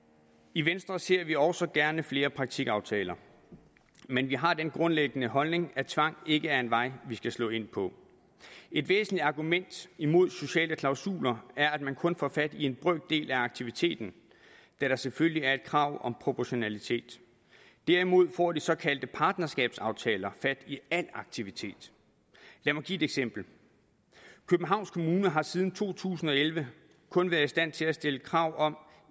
i venstre ser vi også gerne flere praktikaftaler men vi har den grundlæggende holdning at tvang ikke er en vej vi skal slå ind på et væsentligt argument imod sociale klausuler er at man kun får fat i en brøkdel af aktiviteten da der selvfølgelig er et krav om proportionalitet derimod får de såkaldte partnerskabsaftaler fat i al aktivitet lad mig give et eksempel københavns kommune har siden to tusind og elleve kun været i stand til at stille krav om